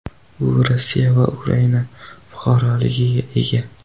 U Rossiya va Ukraina fuqaroligiga ega.